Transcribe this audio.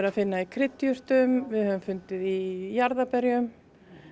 í kryddjurtum við höfum fundið í jarðarberjum